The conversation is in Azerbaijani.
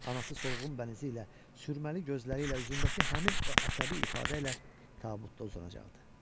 Anası solğun bənizi ilə, sürməli gözləri ilə, üzündəki həmin o əsəbi ifadə ilə tabutda uzanacaqdı.